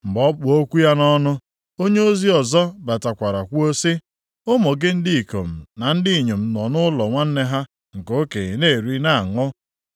Mgbe ọ kpụ okwu ya nʼọnụ, onyeozi ọzọ batakwara kwuo sị, “Ụmụ gị ndị ikom na ndị inyom nọ nʼụlọ nwanne ha nke okenye na-eri na-aṅụ,